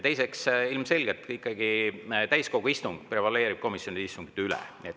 Teiseks, täiskogu istung ikkagi ilmselgelt prevaleerib komisjonide istungite üle.